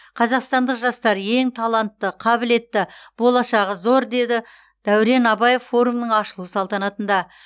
қазақстандық жастар ең талантты қабілетті болашағы зор деді дәурен абаев форумның ашылу салтанатында